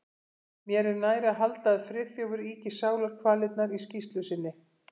Mér er nær að halda að Friðþjófur ýki sálarkvalirnar í skýrslu sinni.